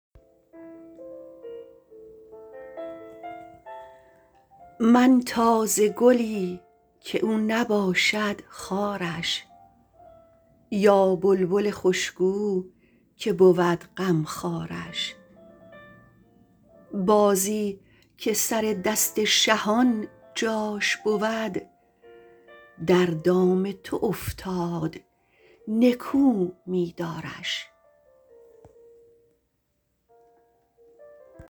من تازه گلی که او نباشد خارش یا بلبل خوش گو که بود غمخوارش بازی که سر دست شهان جاش بود در دام تو افتاد نکو می دارش